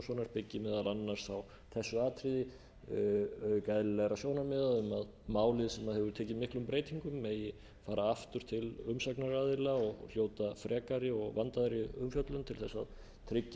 auk eðlilega sjónarmiða um að málið sem hefur tekið miklum breytingum megi fara aftur til umsagnaraðila og hljóta frekari og vandaðri umfjöllun til þess að tryggja